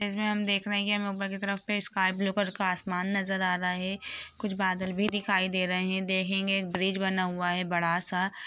इसमें हम देख रहे है कि हमें ऊपर तरफ पे स्काई ब्लू कलर का आसमान नज़र आ रहा है कुछ बादल भी दिखाई दे रहे है देहेंगे एक ब्रिज बना हुआ है बड़ा सा।